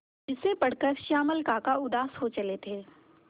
जिसे पढ़कर श्यामल काका उदास हो चले थे